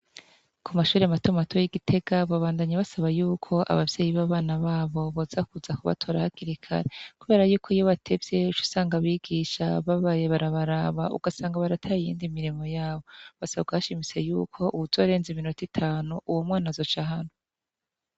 Ku mashure matoma mato y'igitega babandanyi basaba yuko abavyeyi bbabana babo boza kuza ku batora hakirikare, kubera yuko iyo batevyeco usanga bigisha babaye barabaraba ugasanga barataye iyindi mirimo yabo basabwahashimise yuko uwuzo arenze iminota itanu uwo mwana azoca hantu.